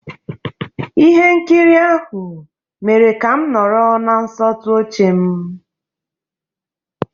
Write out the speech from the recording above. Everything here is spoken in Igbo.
Ihe nkiri ahụ mere ka m nọrọ na nsọtụ oche m.